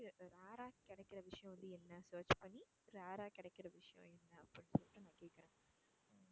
You ட்யூப்ல rare ஆ கிடைக்கிற விஷயம் வந்து என்ன search பண்ணி rare ஆ கிடைக்கிற விஷயம் என்ன அப்படின்னு சொல்லிட்டு நான் கேக்குறேன்.